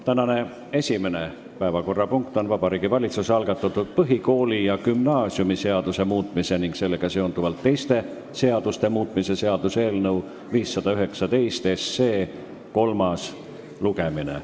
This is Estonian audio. Tänane esimene päevakorrapunkt on Vabariigi Valitsuse algatatud põhikooli- ja gümnaasiumiseaduse muutmise ning sellega seonduvalt teiste seaduste muutmise seaduse eelnõu 519 kolmas lugemine.